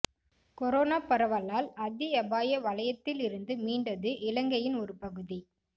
corona பரவலால் அதி அபாய வலயத்திலிருந்து மீண்டது இலங்கையின் ஒரு பகுதி